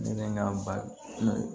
Ne bɛ n ka baro